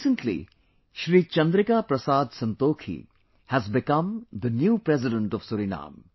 Recently Shri Chandrika Parasad Santokhi has become the new president of Suriname